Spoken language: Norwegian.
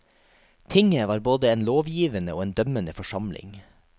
Tinget var både en lovgivende og en dømmende forsamling.